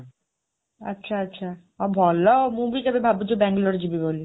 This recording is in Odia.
ଆଚ୍ଛା, ଆଚ୍ଛା ଅ ଭଲ ଆଉ , ମୁଁ ବି କେବେ ଭାବୁଛି ବାଙ୍ଗାଲୋର ଯିବି ବୋଲି।